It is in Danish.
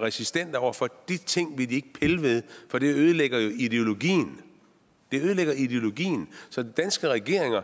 resistente over for for de ting vil de ikke pille ved for det ødelægger jo ideologien det ødelægger ideologien og danske regeringer